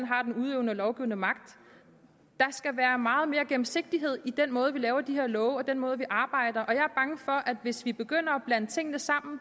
har den udøvende og lovgivende magt der skal være meget mere gennemsigtighed i den måde vi laver de her love og den måde vi arbejder og jeg er bange for at hvis vi begynder at blande tingene sammen